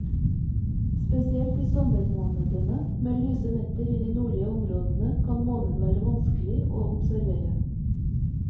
Spesielt i sommermånedene med lyse netter i de nordlige områdene, kan månen være vanskelig å observere.